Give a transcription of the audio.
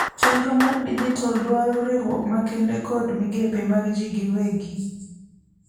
chenro mar dijital dwaro riuruok makende kod migepe mag ji giwegi